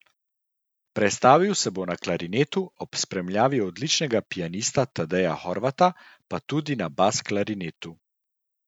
Predstavil se bo na klarinetu, ob spremljavi odličnega pianista Tadeja Horvata pa tudi na bas klarinetu.